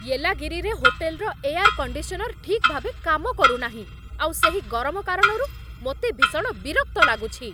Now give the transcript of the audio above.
ୟେଲାଗିରିରେ ହୋଟେଲ୍‌ର air conditioner ଠିକ୍ ଭାବେ କାମ କରୁନାହିଁ, ଆଉ ସେହି ଗରମ କାରଣରୁ ମୋତେ ଭୀଷଣ ବିରକ୍ତ ଲାଗୁଛି।